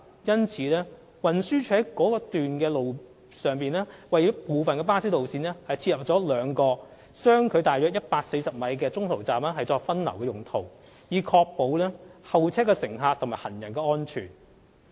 因此，運輸署在該處為部分巴士路線設立了兩個相距約為140米的中途站作分流之用，以確保候車乘客和行人的安全。